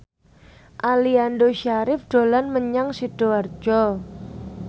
Aliando Syarif dolan menyang Sidoarjo